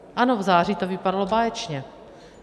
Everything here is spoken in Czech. Ano, v září to vypadalo báječně.